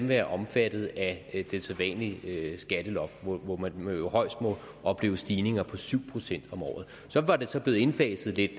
være omfattet af det sædvanlige skatteloft hvor man jo højst må opleve stigninger på syv procent om året så var det blevet indfaset lidt